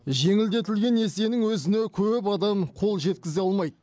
жеңілдетілген несиенің өзіне көп адам қол жеткізе алмайды